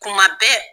Kuma bɛɛ